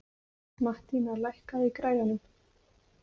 Mattína, lækkaðu í græjunum.